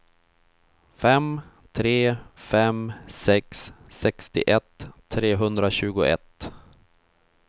fem tre fem sex sextioett trehundratjugoett